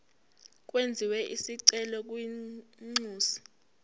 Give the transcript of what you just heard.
kwenziwe isicelo kwinxusa